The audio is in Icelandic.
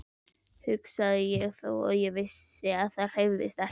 hugsaði ég og vissi þó að það hreyfðist ekki.